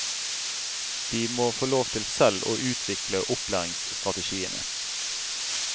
Dei må få lov til sjølv å utvikle opplæringsstrategiane.